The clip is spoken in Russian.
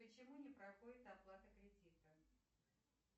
почему не проходит оплата кредита